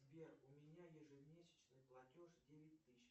сбер у меня ежемесячный платеж девять тысяч